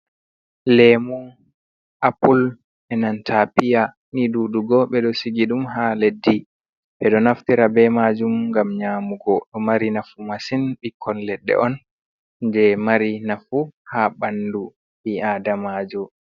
Lemu, apple, enanta piya, ni ɗuɗugo ɓe ɗo sigi ɗum haa leddi. Ɓe ɗo naftira be maajum ngam nyaamugo, ɗo mari nafu masin. Ɓikkon leɗɗe on je mari nafu haa ɓandu ɓi aadamaajo.